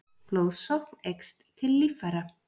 blóðsókn eykst til líffæra